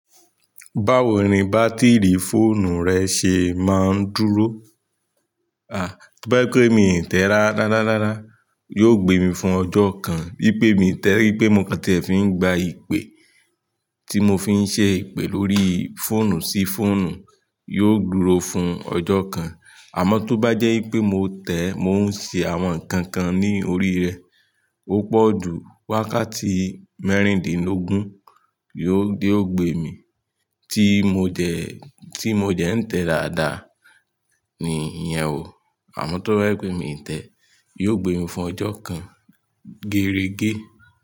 Báwo ni bátìrì fóònù rẹ ṣe máa ń dúró? To ba jẹ pé mi ń tẹ rárá raaraaa, yóò gbé mi fún ọjọ́ kan. Bí pé mi tẹ wi pé mo kàn ti e fi ń gba ìpè tí mo fi ń ṣè ipe lórí fóònù sí fóònù, yóò dúró fún ọjọ́ kan. Àmọ́ tó bá jẹ́ pé mo tẹ́, mo ń ṣe àwọn nǹkan kan ní orí rẹ̀, ó pọ̀jù wákàtí mẹ́rìndínlógún ni yóò ó gbé mi. Tí mo dẹ, tí mo dẹ ń tẹ dáadáa ni ìyẹn ó. Àmọ́ tó bá jẹ pé mi ń tẹ́, yóò gbé mi fún ọjọ́ kan gẹrẹgẹ.